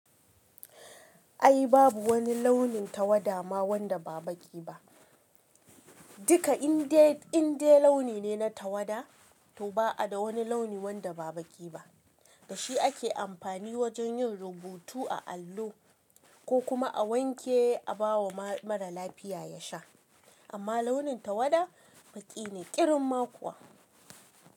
Ai babu wani launin tawada ma wanda ba baƙi ba. Dika indai, indai launi ne na tawada, to ba a da wani launi wanda ba baƙi ba. Da shi ake amfani wajen yin rubutu a allo ko kuma a wanke a ba wa mara lafiya ya sha. Amma launin tawada baƙi ne ƙirin ma kuwa.